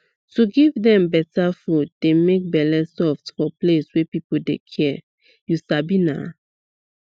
to give dem better food dey make bele soft for place wey people dey care you sabi naa